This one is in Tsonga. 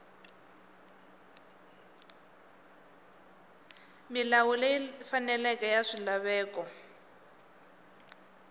milawu leyi faneleke ya swilaveko